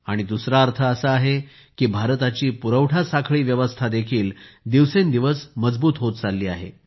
आणि दूसरा अर्थ असा आहे की भारताची पुरवठा साखळी व्यवस्था देखील दिवसेंदिवस मजबूत होत चालली आहे